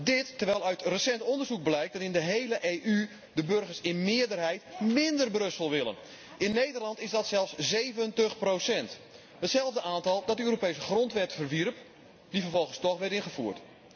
Dit, terwijl uit recent onderzoek blijkt dat in de hele Europese Unie de burgers in meerderheid mínder Brussel willen. In Nederland is dat zelfs 70, hetzelfde aantal dat de Europese grondwet verwierp, die vervolgens toch werd ingevoerd.